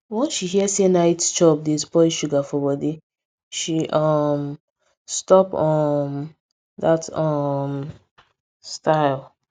once she hear say night chop dey spoil sugar for body she um stop um that um style